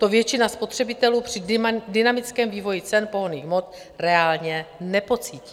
To většina spotřebitelů při dynamickém vývoji cen pohonných hmot reálně nepocítí.